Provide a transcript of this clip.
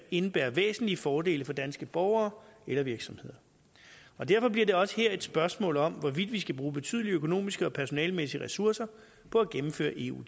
indebære væsentlige fordele for danske borgere eller virksomheder derfor bliver det også her et spørgsmål om hvorvidt vi skal bruge betydelige økonomiske og personalemæssige ressourcer på at gennemføre eu